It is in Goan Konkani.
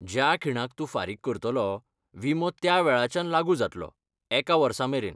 ज्या खीणाक तूं फारीक करतलो, विमो त्या वेळाच्यान लागू जातलो, एका वर्सामेरेन.